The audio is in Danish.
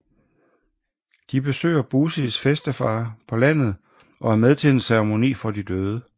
De besøger Busis bedstefar på landet og er med til en ceremoni for de døde